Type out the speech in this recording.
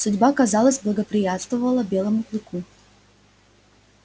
судьба казалось благоприятствовала белому клыку